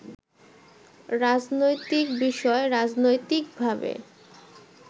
রাজনৈতিক বিষয় রাজনৈতিকভাবে